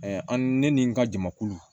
an ne ni n ka jamakulu